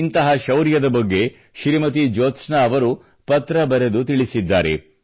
ಇಂಥ ಶೌರ್ಯದ ಬಗ್ಗೆ ಶ್ರೀಮತಿ ಜೋತ್ಸ್ನಾ ಅವರು ಪತ್ರ ಬರೆದು ತಿಳಿಸಿದ್ದಾರೆ